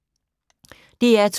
DR2